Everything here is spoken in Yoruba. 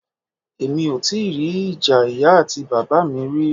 Emi o ti ri ija iya ati baba mi ri.